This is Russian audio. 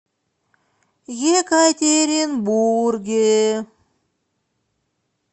екатеринбурге